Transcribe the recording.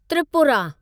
Tripura